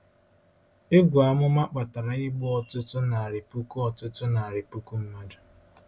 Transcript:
Egwu amụma kpatara igbu ọtụtụ narị puku ọtụtụ narị puku mmadụ.